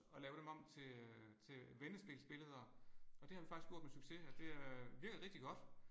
Og lave dem om til øh til vendespilsbilleder og det har vi faktisk gjort med succes og det øh virker rigtig godt